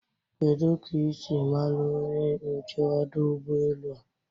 Kedu ka isi mara onye nche ọdụ Ụgbọ elu a?